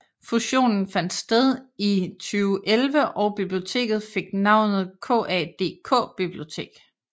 Fusionen fandt sted i 2011 og biblioteket fik navnet KADK Bibliotek